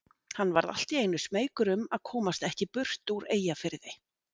Hann varð allt í einu smeykur um að komast ekki burt úr Eyjafirði.